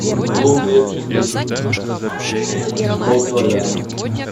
лук репчатый полкилограмма